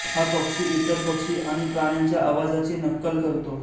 हा पक्षी इतर पक्षी आणि प्राण्यांच्या आवाजाची नक्कल करतो